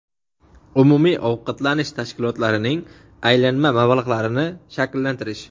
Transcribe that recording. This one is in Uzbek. umumiy ovqatlanish tashkilotlarining aylanma mablag‘larini shakllantirish;.